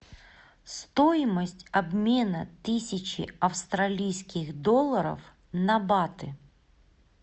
стоимость обмена тысячи австралийских долларов на баты